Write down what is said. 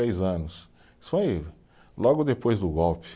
três anos, isso foi logo depois do golpe.